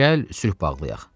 Gəl sülh bağlayaq.